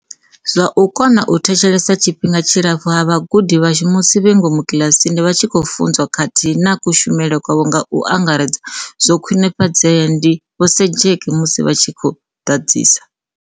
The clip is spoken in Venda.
Zwa u kona u thetshelesa tshifhinga tshilapfu ha vhagudi vhashu musi vhe ngomu kiḽasini vha tshi khou funzwa khathihi na kushumele kwavho nga u angaredza, zwo khwinifhadzea, ndi Vho Sejake musi vha tshi ḓadzisa.